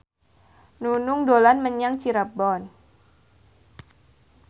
Nunung dolan menyang Cirebon